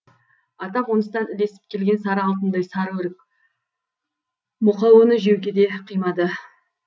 ата қоныстан ілесіп келген сары алтындай сары өрік мұқа оны жеуге де қимады